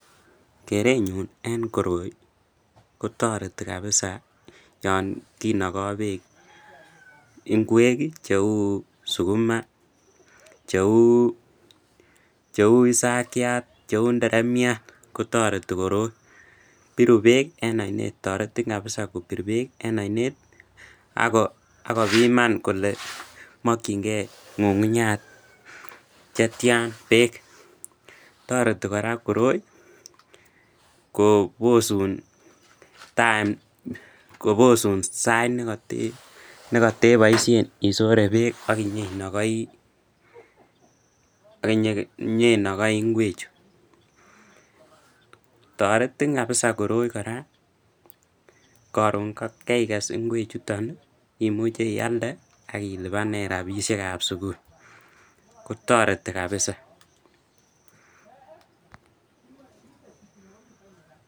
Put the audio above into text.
Kerenyun en koroi kotoreti kabisaa yoon kinoko Beek ing'wek cheuu sukuma, cheuu isakiat, cheuu inderemiat kotoreti koroi, biru beek en oinet, toretin kabisa kobur beek en oinet akobiman kolee mokying'e ng'ung'unyat chetian beek, toreti kora koroi kobosun time, kobosun sait nekoteboishen isore beek ak inyoinokoi ing'wechu, toretin kabisaa koroi kora koron kaikes ing'wechuton imuche ialde ak ilibanen rabishekab sukul, kotoreti kabisa.